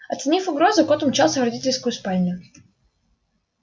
оценив угрозу кот умчался в родительскую спальню